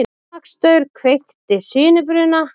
Rafmagnsstaur kveikti sinubruna